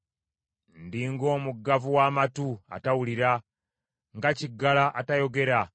Ndi ng’omuggavu w’amatu, atawulira; nga kiggala, atayogera.